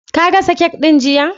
Ka gasa kek don jiya?